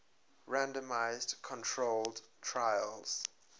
randomized controlled trials